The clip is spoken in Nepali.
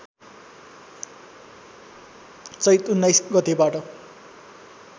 चैत १९ गतेबाट